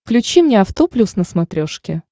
включи мне авто плюс на смотрешке